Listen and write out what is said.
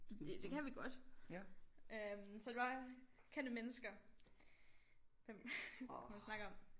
Det det kan vi godt øh så er det bare kendte mennesker hvem hvem kan man snakke om